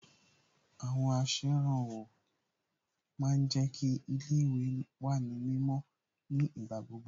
Àwọn aṣèrànwọ́ ma ń jẹ́ kí ilé ìwé wà ní mímọ́ ní ìgbà gbogbo